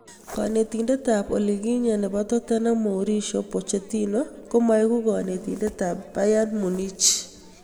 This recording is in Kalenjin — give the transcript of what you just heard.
Netindet ab olikinye ab Tottenham Mauricio Pochettino komaegu netindet ab Bayern Munich.